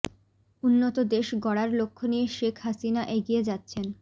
উন্নত দেশ গড়ার লক্ষ্য নিয়ে শেখ হাসিনা এগিয়ে যাচ্ছেন